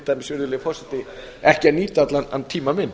dæmis virðulegur forseti ekki að nýta allan tímann minn